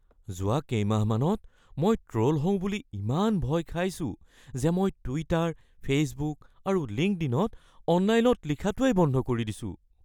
যোৱা কেইমাহমানত মই ট্ৰ'ল হওঁ বুলি ইমান ভয় খাইছোঁ যে মই টুইটাৰ, ফে'চবুক আৰু লিংকডইনত অনলাইনত লিখাটোৱেই বন্ধ কৰি দিছোঁ। (ব্যক্তি 1)